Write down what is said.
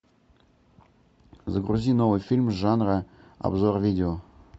загрузи новый фильм жанра обзор видео